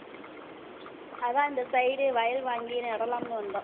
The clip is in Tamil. அதான் இந்த side வயல் வாங்கி நடலாம்ன்னு வந்தோம்